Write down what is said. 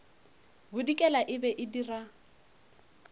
bodikela e be e dira